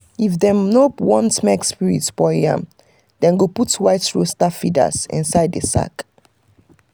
if dem no want make spirit spoil yam dem go put white rooster feathers inside the sacks.